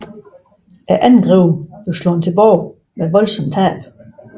Angrebet blev slået tilbage med voldsomme tab